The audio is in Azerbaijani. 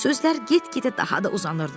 Sözlər get-gedə daha da uzanırdı.